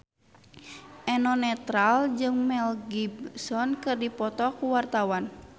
Eno Netral jeung Mel Gibson keur dipoto ku wartawan